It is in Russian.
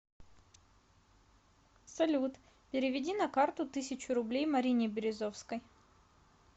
салют переведи на карту тысячу рублей марине березовской